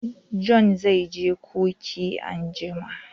John zai je coci anjima